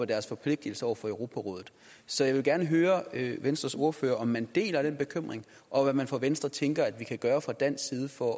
deres forpligtelser over for europarådet så jeg vil gerne høre venstres ordfører om man deler den bekymring og hvad man fra venstres side tænker vi kan gøre fra dansk side for